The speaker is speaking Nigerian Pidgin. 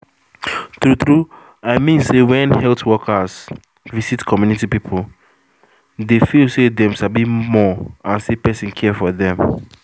true true i mean say when health workers visit community people dey feel say dem sabi more and say person care for dem